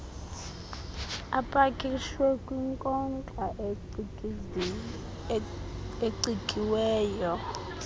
apakishwe kwinkonxa ecikiweyo